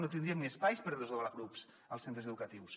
no tindríem ni espais per desdoblar grups als centres educatius